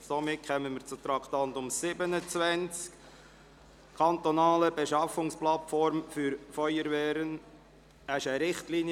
Somit kommen wir zum Traktandum 27, «Kantonale Beschaffungsplattform für Feuerwehren».